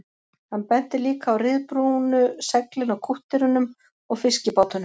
Hann benti líka á ryðbrúnu seglin á kútterunum og fiskibátunum